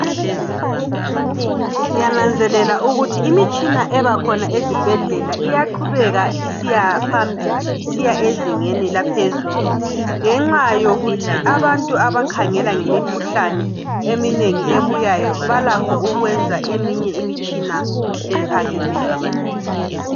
Ngiyananzelela ukuthi imitshina ebakhona ezibhedlela iyaqhubeka isiyaphambili. Isiya ezingeni eliphezulu, ngenxa yokuthi abantu abakhangela ngemikhuhlane eminengi ebuyayo, balakho ukwenza eminye imitshina ephakemeyo.